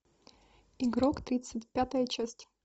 игрок тридцать пятая часть